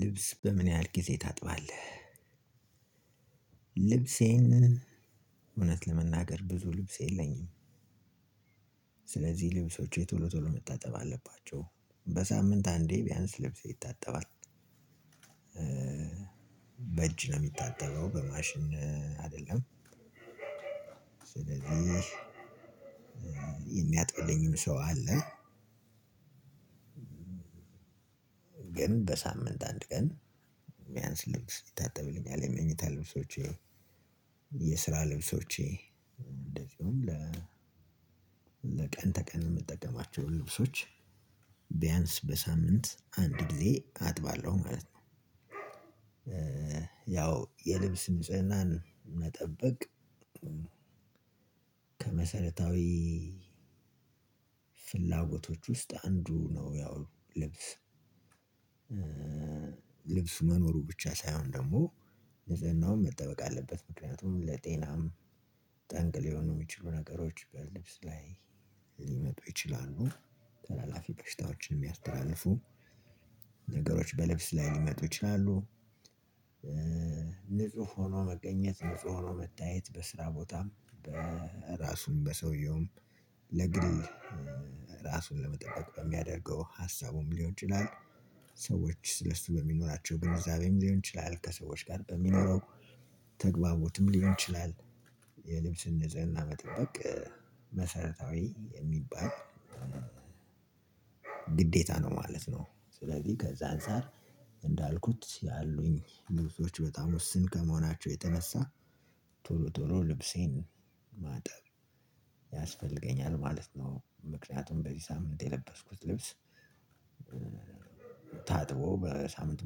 ልብስ በምን ያህል ጊዜ ታጥባለህ? ልብሴን እውነት ለመናገር ብዙ ልብስ የለኝም። ስለዚህ ልብሶቼ ቶሎ ቶሎ መታጠብ አለባቸው በሳምንት አንዴ ቢያንስ ልብሴ ይታጠባል። በእጅ ነው የሚታጠበው በማሽን አይደለም። ስለዚህ የሚያጥብልኝም ሰው አለ። ግን በሳምንት አንድ ቀን ቢያንስ ልብስ ይታጠብልኛል የመኝታ ልብሶቼ የስራ ልብሶቼ እንደዚሁም ለ ለቀን ተቀን የምጠቀማቸው ልብሶች ቢያንስ በሳምንት አንድ ጊዜ አጥባለሁ ማለት ነው። ያው የልብስ ንጽህናን መጠበቅ ከመሰረታዊ ፍላጎቶች ውስጥ አንዱ ነው። ያው ልብስ ልብስ መኖሩም ብቻ ሳይሆን ደግሞ ንፅህናውም መጠበቅ አለበት ምክንያቱም ለጤና ጠንክ ሊሆኑ የሚችሉ ነገሮች በልብስ ላይ ሊመጡ ይችላሉ። ተላላፊ በሽታዎችን የሚያስተላልፉ ነገሮች በልብስ ላይ ሊመጡ ይችላሉ። ንጹህ ሆኖ መገኘት ንጹህ ሆኖ መታየት በስራ ቦታም በራሱም በሰውየውም ለእንግዲህ ራሱን ለመጠበቅ በሚያደርገው ሀሳቡም ሊሆን ይችላል። ሰዎች ስለሱ በሚኖራቸው ግንዛቤም ሊሆን ይችላል ከሰዎች ጋር በሚኖረው ተግባቦትም ሊሆን ይችላል። የልብስን ንጽህና መጠበቅ መሰረታዊ የሚባል ግዴታ ነው ማለት ነው። ስለዚህ ከዛ አንፃር እንዳልኩት ያሉኝ ልብሶች ውስን ከመሆናቸው የተነሳ ቶሎ ቶሎ ልብሴን ማጠብ ያስፈልገኛል ማለት ነው። ምክንያቱም በዚህ ሳምንት የለበስኩት ልብስ ታጥቦ በሳምንት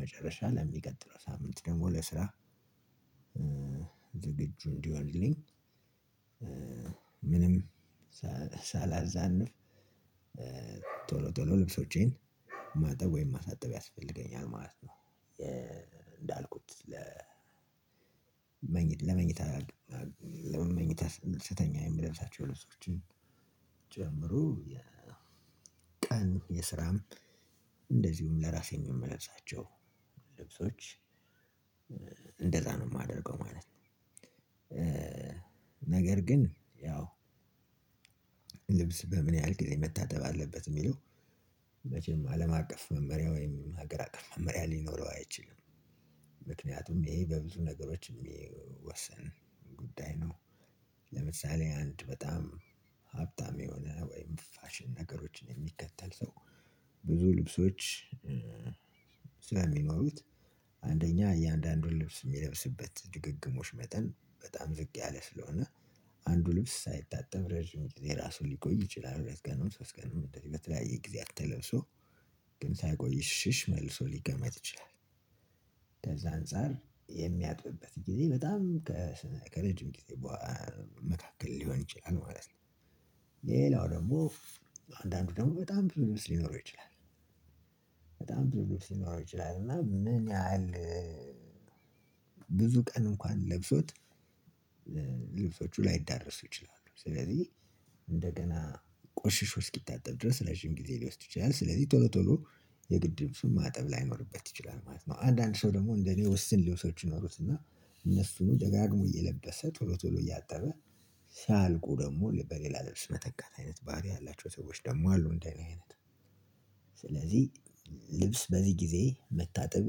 መጨረሻ ለሚቀጥለው ሳምንት ደግሞ ለስራ ዝግጁ እንዲሆንልኝ ምንም ሳላዛንፍ ቶሎ ቶሎ ልብሶቼን ማጠብ ወይም ማሳጠብ ያስፈልገኛል ማለት ነው። እንዳልኩት ለ ለመኝታ ለመኝታ ስተኛ የምለብሳቸው ልብሶችን የቀን የስራም እንደዚሁም ለራሴን የምለብሳቸውን ልብሶች እንደዛ ነው የማደርገው ማለት ነው። ነገር ግን ያው ልብስ በምን ያህል ጊዜ መታተብ አለበት የሚለው መቼም አለም አቀፍ መመሪያ ወይም ሀገር አቀፍ መመሪያ ሊኖረው አይችልም። ምክንያቱም ይሄ በብዙ ነገሮች የሚወሰን ጉዳይ ነው። ለምሳሌ አንድ በጣም ሀብታም የሆነ ወይም ፋሽን ነገሮችን የሚከተል ሰው ብዙ ልብሶች ሰለሚኖሩት አንደኛ እያንዳንዱን ልብስ የሚለብስበት ድግግሞሽ መጠን በጣም ዝቅ ያለ ስለሆነ አንዱ ልብስ ሳይታጠብ ረጅም ጊዜ ራሱ ሊቆይ ይችላል። ሁለት ቀን ነው ሶስት ቀን ነው በተለያየ ጊዜ ተለብሶ ግን ሳይቆይሽሽ መልሶ ሊቀመጥ ይችላል። ከዛ አንፃር የሚያጥብበት ጊዜ በጣም ከረጅም ጊዜ መካከል ሊሆን ይችላል ማለት ነው። ሌላው ደግሞ አንዳንዱ ደግሞ በጣም ብዙ ልብስ ሊኖረው ይችላል። በጣም ብዙ ልብስ ሊኖረው ይችላል እና ምን ያህል ብዙ ቀን እንኳን ለብሶት ልብሶቹ ላይዳረሱ ይችላሉ። ስለዚህ እንደገና ቆሽሽ እስኪታጠብ ድረስ ረጂም ጊዜ ሊወስድ ይችላል ስለዚህ ቶሎ ቶሎ የግድም ልብሱን ማጠብ ላይኖርበት ይችላል ማለት ነው። አንዳንድ ሰው ደግሞ እንደኔ ውስን ልብሶች ይኖሩትና እነሱን ደጋግሞ እየለበሰ ቶሎ ቶሎ እያጠበ ሲያልቁ ደግሞ በሌላ ልብስ መተካት አይነት ባህሪ ያላቸው ሰዎች ደግሞ አሉ እንደእኔ አይነት። ስለዚህ ልብስ በዚህ ጊዜ መታጠብ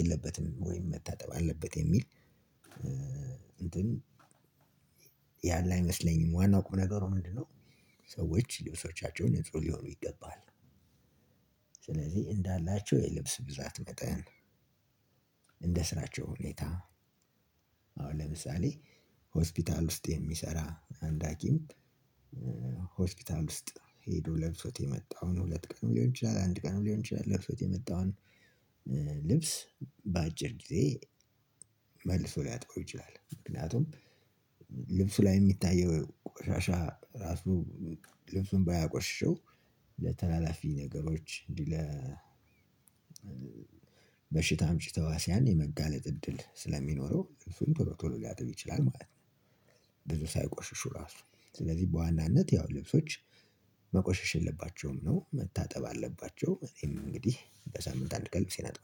የለበትም ወይም መታጠብ አለበት የሚል እንትን ያለ አይመስለኝም። ዋናው ቁም ነገሩ ምንድነው? ሰዎች ልብሶቻቸውን ንጹህ ሊሆኑ ይገባል። ስለዚህ እንዳላቸው የልብስ ብዛት መጠን እንደ ስራቸው ሁኔታ አሁን ለምሳሌ ሆስፒታል ውስጥ የሚሰራ አንድ ሀኪም ሆስፒታል ውስጥ ሄዶ ለብሶት የመጣውን ሁለት ቀን ሊሆን ይችላል አንድ ቀን ሊሆን ይችላል ለብሶት የመጣውን ልብስ በአጭር ጊዜ መልሶ ሊያጥበው ይችላል። ምክንያቱም ልብሱ ላይ የሚታየው ቆሻሻ ራሱ ልብሱን ባያቆሽሸው ለተላላፊ ነገሮች እንዲህ እንዲለ በሽታ አምጪ ተሃዋሲያን የመጋለጥ እድል ስለሚኖረው ልብሱን ቶሎ ቶሎ ሊያጥብ ይችላል ማለት ነው። ብዙ ሳይቆሽሹ እራሱ ስለዚህ በዋናነት ያው ልብሶች መቆሸሽ የለባቸውም ነው መታጠብ አለባቸው እኔም እንግዲህ በሳምንት አንድ ቀን ልብሴን አጥባለሁ